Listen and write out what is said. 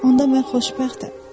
Onda mən xoşbəxtəm.